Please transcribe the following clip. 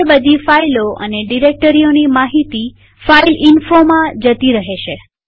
હવે બધી ફાઈલો અને ડિરેક્ટરીઓની માહિતી ફાઈલ fileinfoમાં જતી રહેશે